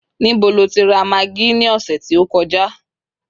níbo lo ti ra maggi ni ọsẹ ti o kọjá